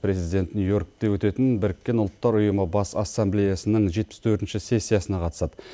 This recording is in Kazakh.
президент нью йоркте өтетін біріккен ұлттар ұйымы бас ассамблеясының жетпіс төртінші сессиясына қатысады